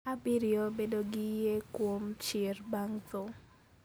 Abiriyo, Bedo gi yie kuom chier bang' tho.